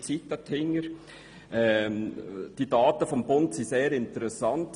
Die Daten des Bundes sind sehr interessant.